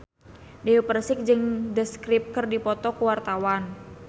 Dewi Persik jeung The Script keur dipoto ku wartawan